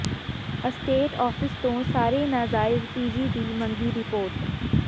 estate office ਤੋਂ ਸਾਰੇ ਨਾਜਾਇਜ਼ ਪੀਜੀ ਦੀ ਮੰਗੀ ਰਿਪੋਰਟ